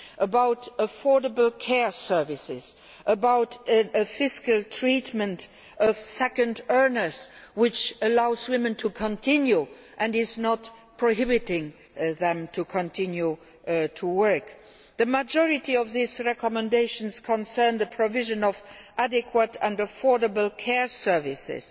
about affordable care services and about ensuring the fiscal treatment of second earners allows women to continue to work and does not prohibit them from continuing to work. The majority of these recommendations concern the provision of adequate and affordable care services